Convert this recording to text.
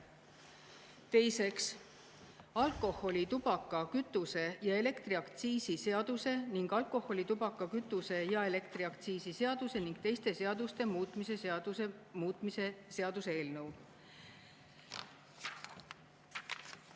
Teiseks, alkoholi-, tubaka-, kütuse- ja elektriaktsiisi seaduse ning alkoholi-, tubaka-, kütuse- ja elektriaktsiisi seaduse ning teiste seaduste muutmise seaduse muutmise seaduse eelnõu.